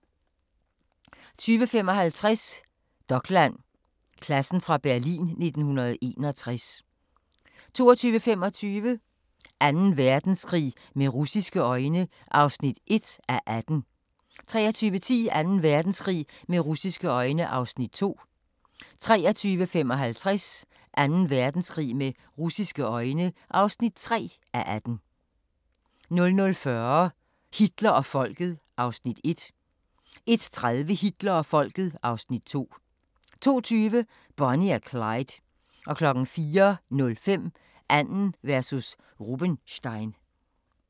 20:55: Dokland: Klassen fra Berlin 1961 22:25: Anden Verdenskrig med russiske øjne (1:18) 23:10: Anden Verdenskrig med russiske øjne (2:18) 23:55: Anden Verdenskrig med russiske øjne (3:18) 00:40: Hitler og Folket (Afs. 1) 01:30: Hitler og Folket (Afs. 2) 02:20: Bonnie og Clyde 04:05: Arden versus Rubenstein